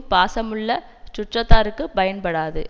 பாசமுள்ள சுற்றத்தாருக்குப் பயன்படாது